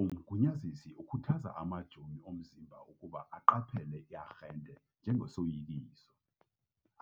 Umgunyazisi ukhuthaza amajoni omzimba ukuba aqaphele i-arhente njengesoyikiso,